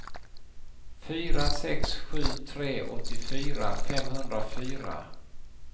fyra sex sju tre åttiofyra femhundrafyra